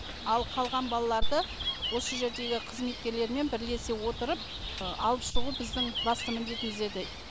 ал қалған балаларды осы жердегі қызметкерлермен бірлесе отырып алып шығу біздің басты міндетіміз еді